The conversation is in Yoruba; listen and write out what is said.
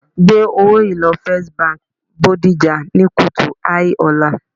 Gbé owó yìí lọ First Bank Bodija ní kùtù hàì ọ̀la